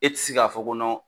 E ti se k'a fɔ kɔ nɔn